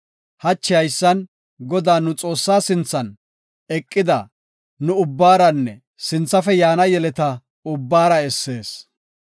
Hachi haysan, Godaa, nu Xoossaa sinthan eqida nu ubbaaranne sinthafe yaana yeleta ubbaara essees.